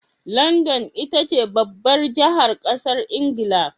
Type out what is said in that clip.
London itace babbar jahar ƙasar ingila